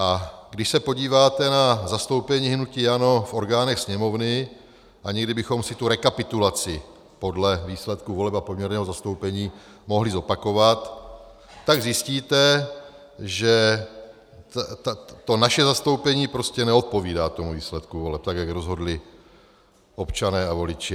A když se podíváte na zastoupení hnutí ANO v orgánech Sněmovny, a někdy bychom si tu rekapitulaci podle výsledku voleb a poměrného zastoupení mohli zopakovat, tak zjistíte, že to naše zastoupení prostě neodpovídá tomu výsledku voleb, tak jak rozhodli občané a voliči.